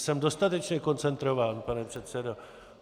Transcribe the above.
Jsem dostatečně koncentrován, pane předsedo.